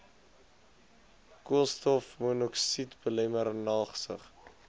koolstofmonokside belemmer nagsig